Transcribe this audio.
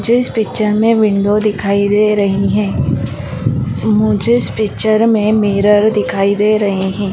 मुझे इस पिक्चर में विंडो दिखाई दे रही है मुझे इस पिक्चर में मिरर दिखाई दे रहे है।